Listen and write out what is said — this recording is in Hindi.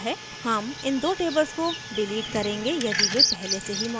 हम इन दो tables को डिलीट करेंगे यदि वे पहले से ही मौजूद हैं